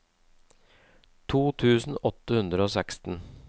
to tusen åtte hundre og seksten